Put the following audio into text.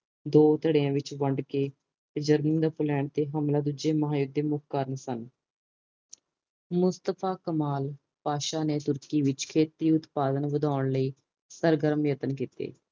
ਦੋ ਧੜਿਆਂ ਵਿਚ ਵੰਡ ਕੇ ਜਰਮਨੀ ਦਾ ਫੈਲਣ ਤੇ ਹਮਲਾ ਦੂਜੇ ਮਹਾ ਯੁੱਧ ਦੇ ਮੁੱਖ ਕਾਰਨ ਸਨ ਮੁਸਤਫਾ ਕਮਾਲ ਪਾਤਸਾਹ ਨੇ ਤੁਰਕੀ ਵਿੱਚ ਖ਼ੇਤੀ ਉਤਪਾਦਨ ਵਧਾਉਣ ਲਈ ਸਰਗਰਮ ਯਤਨ ਕੀਤੇ